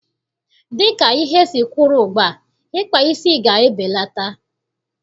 Dịka ihe siri kwụrụ ugbua, ịkpa isi ga-ebelata.